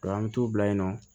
an mi t'u bila yen nɔ